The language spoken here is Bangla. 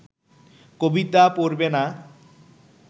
কবিতা পড়বে না